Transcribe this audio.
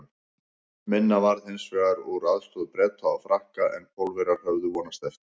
Minna varð hins vegar úr aðstoð Breta og Frakka en Pólverjar höfðu vonast eftir.